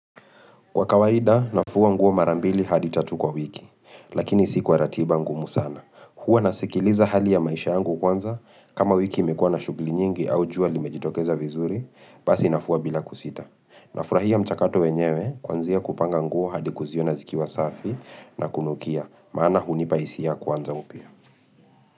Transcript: Kwa kawaida, nafua nguo mara mbili hadi tatu kwa wiki, lakini si kwa ratiba ngumu sana. Huwa nasikiliza hali ya maisha yangu kwanza kama wiki imekuwa na shughuli nyingi au jua limejitokeza vizuri, basi nafua bila kusita. Nafurahia mchakato wenyewe, kwanzia kupanga nguo hadi kuziona zikiwa safi na kunukia, maana hunipa hisia ya kuanza upya.